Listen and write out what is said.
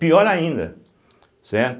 Pior ainda, certo?